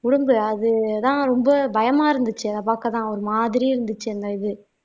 உடும்பு அதுதான் ரொம்ப பயமா இருந்துச்சு அத பாக்கத்தான் ஒரு மாதிரி இருந்துச்சு அந்த இது